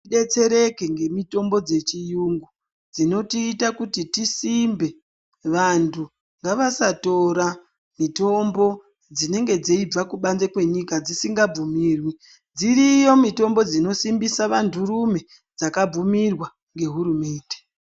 Ngatidetsereke ngemitombo dzechiyungu dzinotiita kuti tisimbe vantu ngavasatora mitombo dzinenge dzeibva kubanze kwenyika dzisngabvumirwi, dziriyo mitombo dzinosimbisa vantu rume dzakabvumirwa ngehurumende.